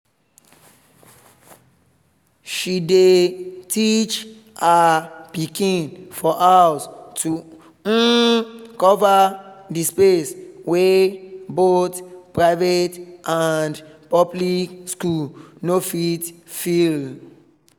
she dey teach her pikin for house to um cover the space wey both private and public school no fit fill